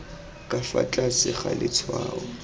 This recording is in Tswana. ka fa tlase ga letshwao